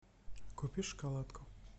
купи шоколадку